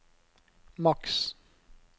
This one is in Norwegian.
maks